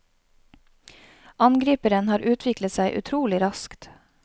Angriperen har utviklet seg utrolig raskt.